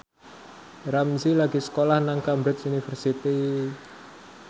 Ramzy lagi sekolah nang Cambridge University